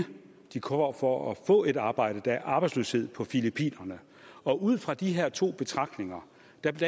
de kommer for at få et arbejde der er arbejdsløshed på filippinerne ud fra de her to betragtninger